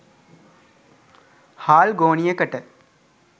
හාල් ගෝනියකට